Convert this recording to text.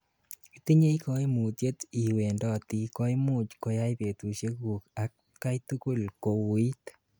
itinyei kaimutyet iwendoti koimuch koyai betusieguk atgaitugul kowuuit